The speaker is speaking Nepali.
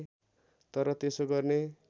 तर त्यसो गर्ने